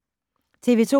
TV 2